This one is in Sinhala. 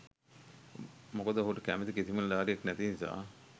මොකද ඔහුට කැමති කිසිම නිලධාරියෙක් නැති නිසා.